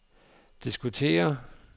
diskutere